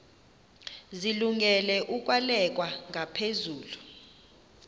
zilungele ukwalekwa ngaphezulu